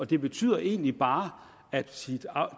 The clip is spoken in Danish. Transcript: det betyder egentlig bare at